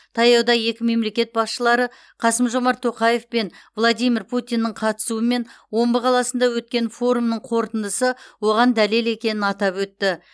таяуда екі мемлекет басшылары қасым жомарт тоқаев пен владимир путиннің қатысуымен омбы қаласында өткен өткен форумның қорытындысы оған дәлел екенін атап өтті